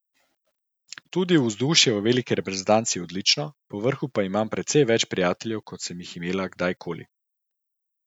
Tudi vzdušje v veliki reprezentanci je odlično, povrhu pa imam precej več prijateljev, kot sem jih imela kdaj koli.